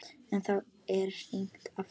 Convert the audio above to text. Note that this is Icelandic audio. En þá er hringt aftur.